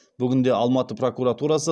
бүгінде алматы прокуратурасы